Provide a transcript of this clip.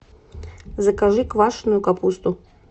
закажи квашенную капусту